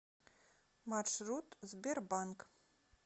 маршрут сбер банк